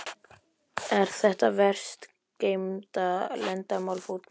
Er þetta verst geymda leyndarmál fótboltans?